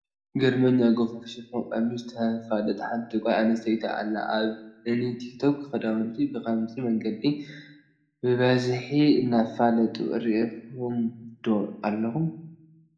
ግርመኛ ጐፋፍ ሽፎን ቀሚሽ ተፋልጥ ሓንቲ ጓል ኣንስተይቲ ኣላ፡፡ ኣብ እኒ ቲክ ቶክ ክዳውንቲ ብኸምዚ መንገዲ ብበዝሒ እንትፋለጡ ርኢኹም ዶ ኣለኹም?